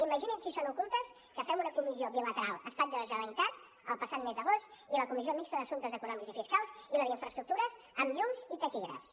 imagini’s si són ocultes que fem una comissió bilateral estat i la generalitat el passat mes d’agost i la comissió mixta d’assumptes econòmics i fiscals i la d’infraestructures amb llums i taquígrafs